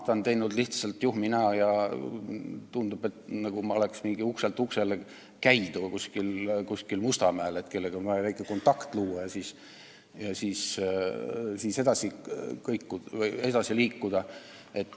Ta on teinud lihtsalt juhmi näo ja tundub, nagu ma oleks kuskil Mustamäel mingi ukselt uksele käija, kellel on vaja väike kontakt luua ja siis edasi liikuda.